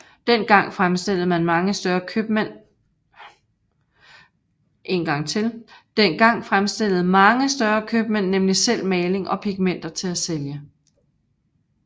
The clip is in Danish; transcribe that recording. Dengang fremstillede mange større købmænd nemlig selv maling og pigmenter til at sælge